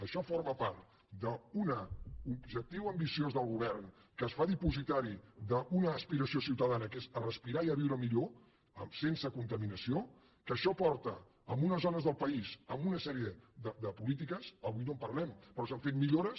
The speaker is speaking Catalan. això forma part d’un objectiu ambiciós del govern que es fa dipositari d’una aspiració ciutadana que és respirar i viure millor sense contaminació que això porta en unes zones del país a una sèrie de polítiques avui no en parlem però s’han fet millores